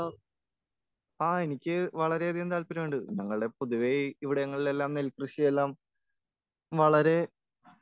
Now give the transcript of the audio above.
എനിക്ക് വളരെയധികം താല്പര്യമുണ്ട്.ഞങ്ങൾടെ പൊതുവെ ഇവിടെങ്ങളിലെല്ലാം നെൽ കൃഷിയെല്ലാം വളരെ